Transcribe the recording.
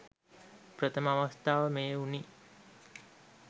ප්‍රථම අවස්ථාව මෙය වුණි.